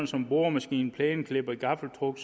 som boremaskiner plæneklippere gaffeltruck